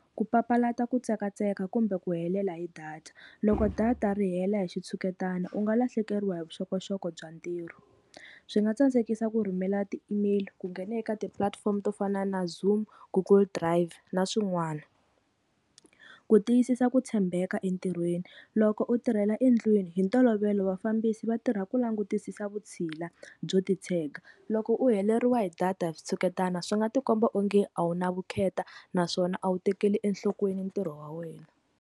Ku papalata ku tsekatseka kumbe ku helela hi data, loko data ri hela hi xitshuketana u nga lahlekeriwa hi vuxokoxoko bya ntirho. Swi nga tsandzekisa ku rhumela ti-email-i ku nghena eka tipulatifomo to fana na zoom, google drive na swin'wana. Ku tiyisisa ku tshembeka entirhweni loko u tirhela endlwini hi ntolovelo vafambisi va tirha ku langutisisa vutshila byo titshega, loko u heleriwa hi data switshuketana swi nga ti komba onge a wu na vukheta naswona a wu tekeli enhlokweni ntirho wa wena.